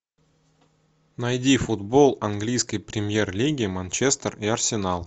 найди футбол английской премьер лиги манчестер и арсенал